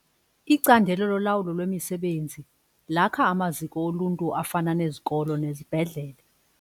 Icandelo lolawulo lwemisebenzi lakha amaziko oluntu afana nezikolo nezibhedlele.